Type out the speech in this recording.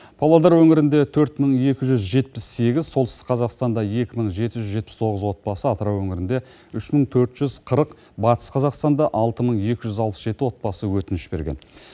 павлодар өңірінде төрт мың екі жүз жетпіс сегіз солтүстік қазақстанда екі мың жеті жүз жетпіс тоғыз отбасы атырау өңірінде үш мың төрт жүз қырық батыс қазақстанда алты мың екі жүз алпыс жеті отбасы өтініш берген